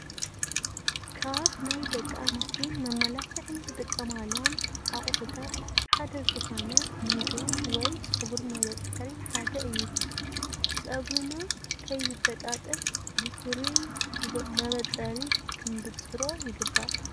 ካብ ናይ ደቂ ኣንስትዮ ንመመላኽዒ ዝጥቀማሎም ኣቕሑታት ሓደ ዝኾነ ሚዶ ወይ ፀጉሪ መበፀሪ ሓደ እዩ፡፡ ፀጉርና ከይበጣጠስ ብፍሩይ መበፀሪ ክንብፅሮ ይግባእ፡፡